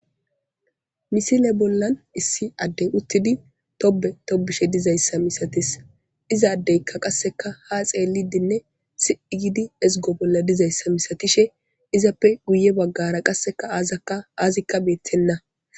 misile bolla issi addey uttidi tobe tobishe dizayssa misatis izaaddeykka qasseka ha xeelidinne siigidi ezgo bolla dizayssa misatishe izappe guye baggara qasseka aazakka aazikka beettenna